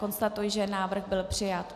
Konstatuji, že návrh byl přijat.